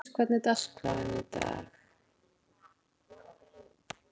Gnádís, hvernig er dagskráin í dag?